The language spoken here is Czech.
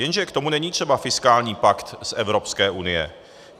Jenže k tomu není třeba fiskální pakt z Evropské unie.